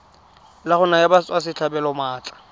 la go naya batswasetlhabelo maatla